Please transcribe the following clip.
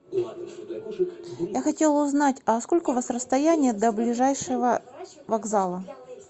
я хотела узнать а сколько у вас расстояние до ближайшего вокзала